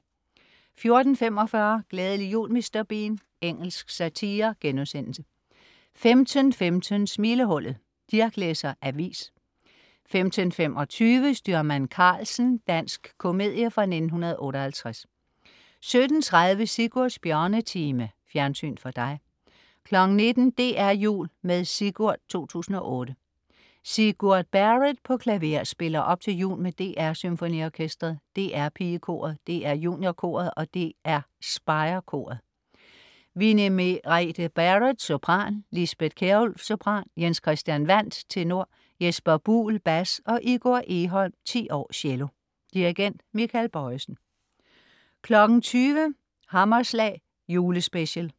14.45 Glædelig jul Mr. Bean. Engelsk satire* 15.15 Smilehullet - Dirch læser avis 15.25 Styrmand Karlsen. Dansk komedie fra 1958 17.30 Sigurds Bjørnetime. Fjernsyn for dig 19.00 DR Jul med Sigurd 2008. Sigurd Barrett på klaver spiller op til jul med DR SymfoniOrkestret, DR PigeKoret, DR JuniorKoret og DR SpireKoret. Winnie Merete Barrett, sopran, Lisbeth Kjærulff, sopran, Jens Christian Wandt, tenor Jesper Buhl, bas og Igor Egholm (10 år), cello. Dirigent: Michael Bojesen 20.00 Hammerslag Julespecial